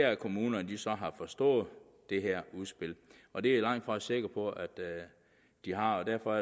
at kommunerne så har forstået det her udspil og det er jeg langt fra sikker på at de har og derfor